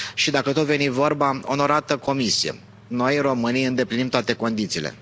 Și dacă tot veni vorba, onorată Comisie, noi românii îndeplinim toate condițiile.